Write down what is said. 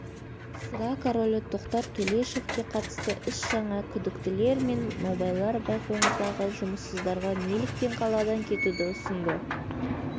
сыра королі тоқтар төлешовке қатысты іс жаңа күдіктілер мен нобайлар байқоңырдағы жұмыссыздарға неліктен қаладан кетуді ұсынды